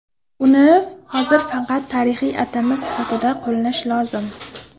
Uni hozir faqat tarixiy atama sifatida qo‘llash lozim.